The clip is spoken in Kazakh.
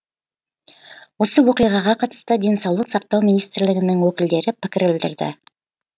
осы оқиғаға қатысты денсаулық сақтау министрлігінің өкілдері пікір білдірді